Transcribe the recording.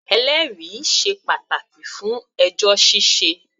Ẹlẹ́rìí sé pàtàkì fún ẹjọ́ ṣíṣẹ.